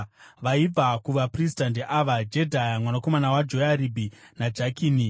Vaibva kuvaprista ndeava: Jedhaya mwanakomana waJoyaribhi naJakini;